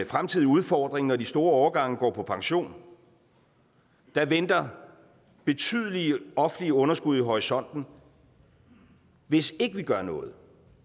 fremtidig udfordring når de store årgange går på pension der venter betydelige offentlige underskud i horisonten hvis ikke vi gør noget